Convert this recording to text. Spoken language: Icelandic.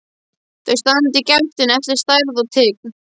Þau standa í gættinni eftir stærð og tign.